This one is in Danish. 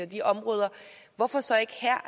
de områder hvorfor så ikke her